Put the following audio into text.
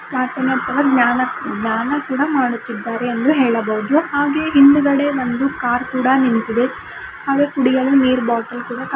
ಜ್ಞಾನ ದ್ಯಾನ ಕೂಡ ಮಾಡುತ್ತಿದ್ದಾರೆ ಎಂದು ಹೇಳಬಹುದು ಹಾಗೆ ಹಿಂದುಗಡೆ ಒಂದು ಕಾರ್ ಕೂಡ ನಿಂತಿದೆ ಹಾಗೆ ಕುಡಿಯಲು ನೀರ್ ಬಾಟಲ್ ಕೂಡ ಕಾ --